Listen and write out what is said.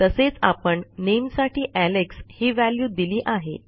तसेच आपण नामे साठी एलेक्स ही व्हॅल्यू दिली आहे